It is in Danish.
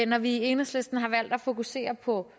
når vi i enhedslisten har valgt at fokusere på